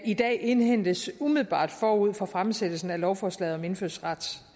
i dag indhentes umiddelbart forud for fremsættelsen af lovforslaget om indfødsrets